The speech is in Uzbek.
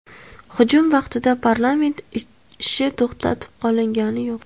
Hujum vaqtida parlament ishi to‘xtab qolgani yo‘q.